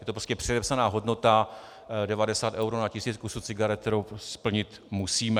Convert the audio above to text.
Je to prostě předepsaná hodnota 90 eur na 1000 kusů cigaret, kterou splnit musíme.